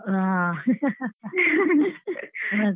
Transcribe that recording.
ಹಾ ಮತ್.